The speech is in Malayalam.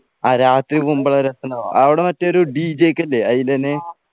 ആ രാത്രിക്കൊമ്പതര രസണ്ടാവാ അവിടെ മറ്റേ ഒരു DJ ഒക്കെയല്ലേ അയിലെന്നെ